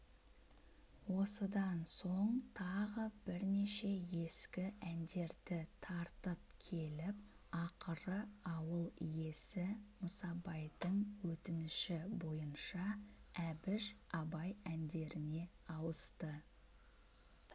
осыдан соң тағы бірнеше ескі әндерді тартып келіп ақыры ауыл иесі мұсабайдың өтініші бойынша әбіш абай әндеріне ауысты